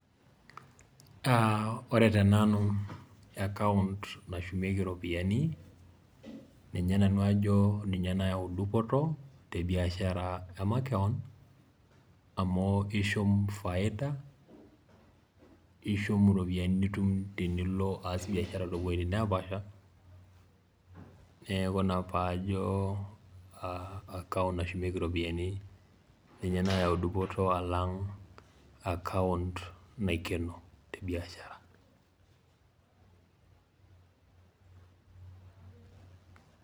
ore tenanu account nashumieki iropiyiani, ninye nanu ajo ninye nayau dupoto te biashara makewon. amu ishum faida, ishum iropyiani nitum tenilo aas biashara too wuejitin naapaasha, neeku ina pee ajo account nashumieki iropiyiani, ninye nayau dupoto alnga account naikeni te rishata.